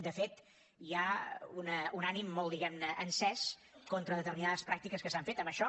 de fet hi ha un ànim molt diguem ne encès contra determinades pràctiques que s’han fet en això